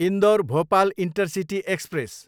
Indore, Bhopal intercity express